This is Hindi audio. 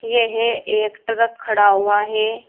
यह एक ट्रक खड़ा हुआ है।